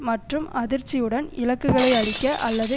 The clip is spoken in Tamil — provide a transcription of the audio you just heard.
மற்றும் அதிர்ச்சியுடன் இலக்குகளை அழிக்க அல்லது